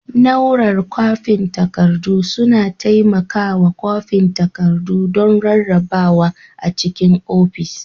Nau'rar kwafin takardu suna taimakawa kwafin takardu don rarrabawa a cikin ofis.